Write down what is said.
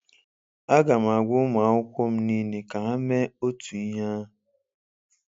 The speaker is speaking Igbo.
A ga m agwa ụmụ akwụkwọ m niile ka ha mee otú ihe ahụ